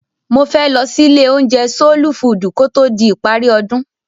Mo fẹ́ lọ sí ilé-oúnjẹ Sóólú Fuùdù ko tó di ìparí ọdún.